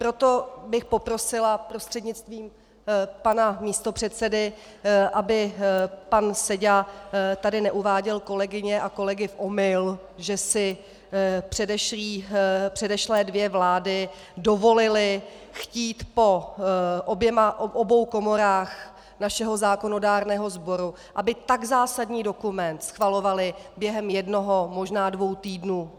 Proto bych poprosila prostřednictvím pana místopředsedy, aby pan Seďa tady neuváděl kolegyně a kolegy v omyl, že si předešlé dvě vlády dovolily chtít po obou komorách našeho zákonodárného sboru, aby tak zásadní dokument schvalovaly během jednoho, možná dvou týdnů.